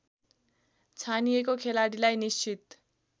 छानिएको खेलाडीलाई निश्चित